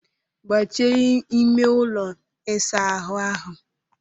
Gbachie ime ụlọ ịsa ahụ áhụ̀!